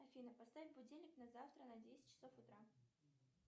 афина поставь будильник на завтра на десять часов утра